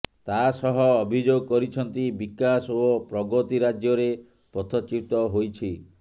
ତାସହ ଅଭିଯୋଗ କରିଛନ୍ତି ବିକାଶ ଓ ପ୍ରଗତି ରାଜ୍ୟରେ ପଥଚ୍ୟୁତ ହୋଇଛି